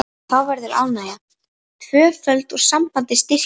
Þá verður ánægjan tvöföld og sambandið styrkist.